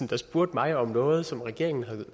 der spurgte mig om noget som regeringen